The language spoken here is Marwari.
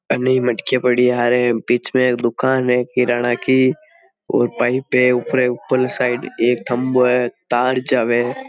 अन्ने मटकिया पड़ी है बिच में दूकान है किराणा की और पाइप है ऊपरे ऊपर साइड एक खम्बो है तार जावे है।